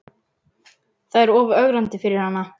Það er of ögrandi fyrir hana.